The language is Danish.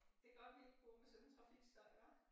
Det godt vi kunne gå med sådan en trafikstøj hva